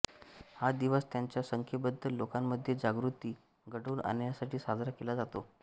हा दिवस त्यांच्या संख्येबद्दल लोकांमध्ये जागृती घडवून आणण्यासाठी साजरा केला जातो